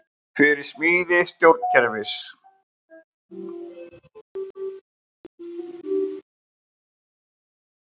Fyrir smíði stjórnkerfis